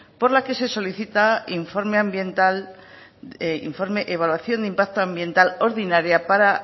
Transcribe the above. por la que se solicita informe ambiental informe evaluación de impacto ambiental ordinaria para